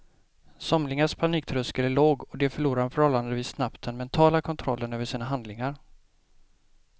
Somligas paniktröskel är låg och de förlorar förhållandevis snabbt den mentala kontrollen över sina handlingar.